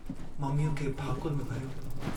मम्मीअ खे भाकुर में भरियो।